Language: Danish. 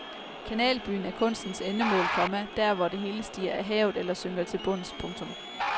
Kanalbyen er kunstens endemål, komma der hvor det hele stiger af havet eller synker til bunds. punktum